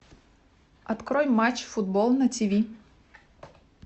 открой матч футбол на тв